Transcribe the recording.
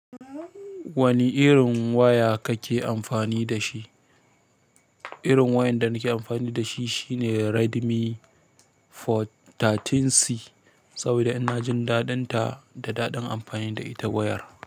Wanne irin waya kake amfani dashi, irin wayan da nake amfani dashi shine redmi sha uku c, saboda inajin daɗin ta kuma inajin daɗin amfani da ita wayar.